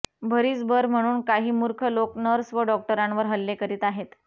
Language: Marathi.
भरीसभर म्हणून काही मूर्ख लोक नर्स व डॉक्टरांवर हल्ले करीत आहेत